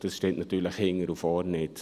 Das stimmt aber überhaupt nicht.